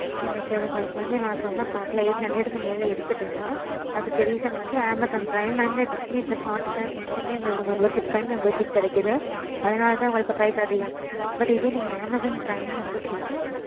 இல்ல sir உங்களுக்கு வந்து நான் சொன்ன pack ல eight hundred க்கு மேல இருக்குதுனா அதுக்கு reason வந்து Amazon prime and Disney plus hotstar ரெண்டுமே உங்களுக்கு membership time membership கிடைக்குது. அதனால தான் உங்களுக்கு price அதிகம். but இதே நீங்க Amazon prime membership